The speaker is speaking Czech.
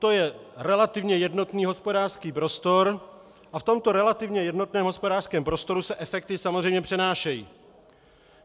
To je relativně jednotný hospodářský prostor a v tomto relativně jednotném hospodářském prostoru se efekty samozřejmě přenášejí.